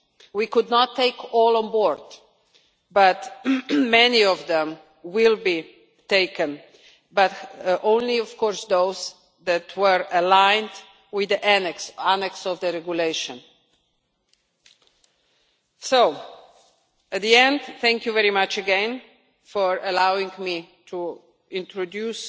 We could not take all on board, but many of them will be taken on board, only of course those that were aligned with the Annex of the Regulation. Finally, thank you very much again for allowing me to introduce